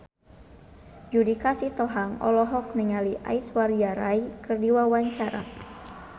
Judika Sitohang olohok ningali Aishwarya Rai keur diwawancara